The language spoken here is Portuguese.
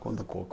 Conta um pouco.